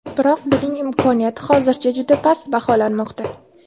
Biroq buning imkoniyati hozircha juda past baholanmoqda.